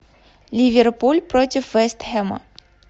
ливерпуль против вест хэма